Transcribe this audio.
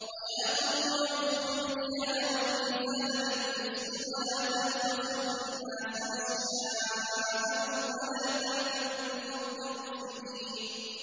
وَيَا قَوْمِ أَوْفُوا الْمِكْيَالَ وَالْمِيزَانَ بِالْقِسْطِ ۖ وَلَا تَبْخَسُوا النَّاسَ أَشْيَاءَهُمْ وَلَا تَعْثَوْا فِي الْأَرْضِ مُفْسِدِينَ